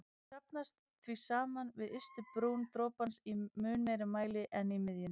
Þau safnast því saman við ystu brún dropans í mun meiri mæli en í miðjunni.